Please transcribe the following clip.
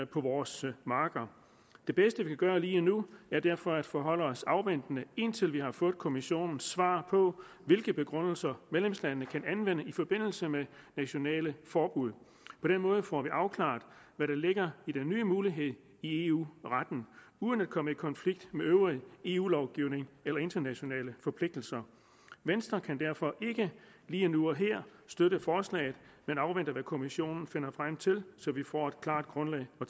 på vores marker det bedste vi kan gøre lige nu er derfor at forholde os afventende indtil vi har fået kommissionens svar på hvilke begrundelser medlemslandene kan anvende i forbindelse med nationale forbud på den måde får vi afklaret hvad der ligger i den nye mulighed i eu retten uden at komme i konflikt med øvrig eu lovgivning eller internationale forpligtelser venstre kan derfor ikke lige nu og her støtte forslaget men afventer hvad kommissionen finder frem til så vi får et klart grundlag at